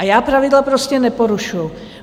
A já pravidla prostě neporušuji.